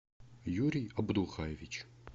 юрий абдухаевич